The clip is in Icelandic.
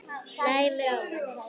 Slæmur ávani